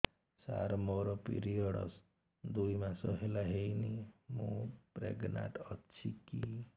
ସାର ମୋର ପିରୀଅଡ଼ସ ଦୁଇ ମାସ ହେଲା ହେଇନି ମୁ ପ୍ରେଗନାଂଟ ଅଛି କି